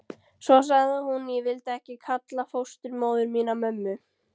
Svo sagði hún: Ég vildi ekki kalla fósturmóður mína mömmu.